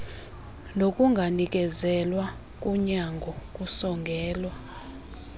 nokunganikezelwa konyango kusongela